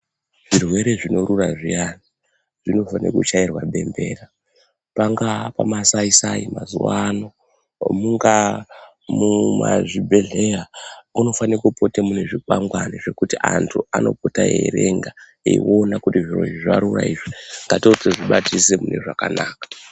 Zvirwere zvinorura zviyani zvinofane kuchairwa bembera, pangaa kumasaisai mazuva ano mungaa muzvibhedhleya munofane kupote mune zvikwangwari zvokuti antu anopota eierenga eiona kuti zvirozvi zvarura izvi, ngatibatisise mune zvakanaka.